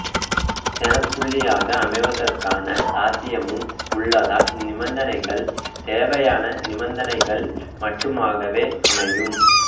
சேணப்புள்ளியாக அமைவதற்கான சாத்தியமும் உள்ளதால் இந்நிபந்தனைகள் தேவையான நிபந்தனைகள் மட்டுமாகவே அமையும்